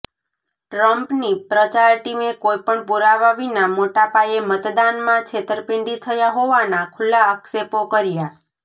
ટ્રમ્પની પ્રચાર ટીમે કોઈપણ પુરાવા વિના મોટા પાયે મતદાનમાં છેતરપિંડી થયા હોવાના ખુલ્લા આક્ષેપો કર્યા